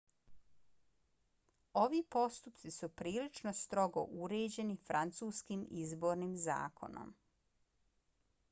ovi postupci su prilično strogo uređeni francuskim izbornim zakonom